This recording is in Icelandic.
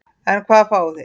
En hvað fáið þið?